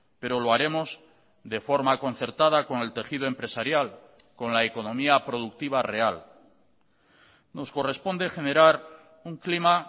pero lo haremos de forma concertada con el tejido empresarial con la economía productiva real nos corresponde generar un clima